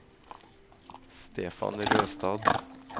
Stefan Røstad